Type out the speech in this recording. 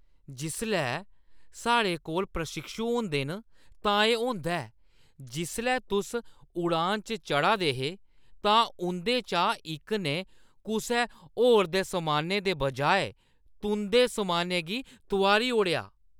जिसलै साढ़े कोल प्रशिक्षु होंदे न, तां एह् होंदा ऐ । जिसलै तुस उड़ान च चढ़ा दे हे तां उंʼदे चा इक ने कुसै होर दे समानै दे बजाए तुंʼदे समानै गी तुआरी ओड़ेआ।